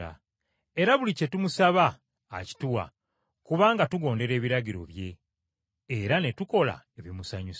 Era buli kye tumusaba akituwa, kubanga tugondera ebiragiro bye, era ne tukola ebimusanyusa.